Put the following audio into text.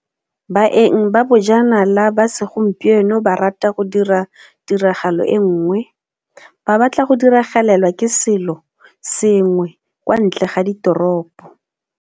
Baeng ba bojanala ba segompieno ba rata go dira tiragalo e nngwe ba batla go diragalelwa ke selo sengwe kwa ntle ga ditoropo.